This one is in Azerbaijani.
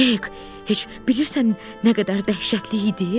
Hek, heç bilirsən nə qədər dəhşətli idi?